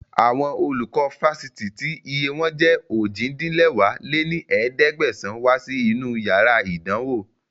Àwọn olùkọ́ Fásitì tí iye wọn jẹ́ ojì-din-lẹwá lé ní ẹ̀ẹ́dẹ́gbẹ́sán wá sí inú yàrá ìdánwò